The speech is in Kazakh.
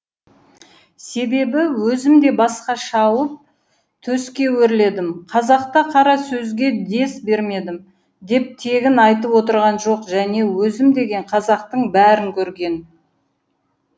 себебі өзім де басқа шауып төске өрледім қазақта қара сөзге дес бермедім деп тегін айтып отырған жоқ және өзім деген қазақтың бәрін көрген